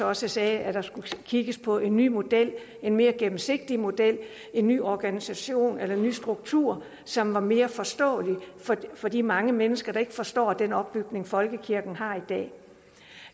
også sagde at der skulle kigges på en ny model en mere gennemsigtig model en ny organisation eller ny struktur som var mere forståelig for de mange mennesker der ikke forstår den opbygning folkekirken har i dag